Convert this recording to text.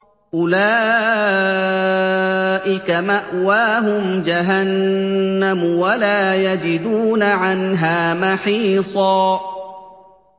أُولَٰئِكَ مَأْوَاهُمْ جَهَنَّمُ وَلَا يَجِدُونَ عَنْهَا مَحِيصًا